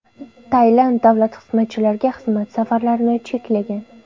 Tailand davlat xizmatchilariga xizmat safarlarini cheklagan .